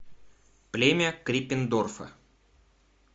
племя криппендорфа